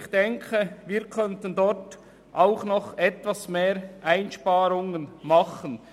Ich denke, wir könnten durchaus noch etwas mehr Einsparungen vornehmen.